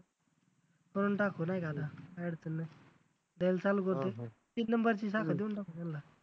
बनवून टाकू नाही का आता add तेन द्यायला चालू करतो जागा देऊन टाकू त्यांला